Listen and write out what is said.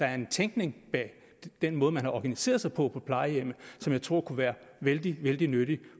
er en tænkning bag den måde man har organiseret sig på på plejehjemmet som jeg tror kunne være vældig vældig nyttig